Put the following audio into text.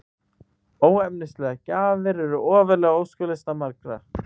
Óefnislegar gjafir eru ofarlega á óskalista margra.